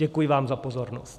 Děkuji vám za pozornost.